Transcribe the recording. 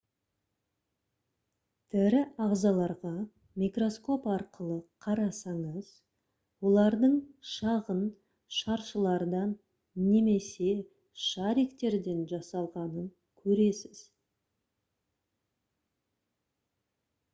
тірі ағзаларға микроскоп арқылы қарасаңыз олардың шағын шаршылардан немесе шариктерден жасалғанын көресіз